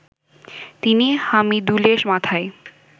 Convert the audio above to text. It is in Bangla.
তিনি হামিদুলের মাথায়